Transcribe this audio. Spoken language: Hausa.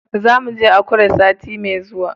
Za mu je Akure sati mai zuwa.